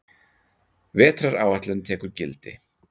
Vetraráætlun tekur gildi